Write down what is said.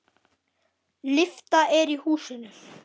Lyfta er í húsinu.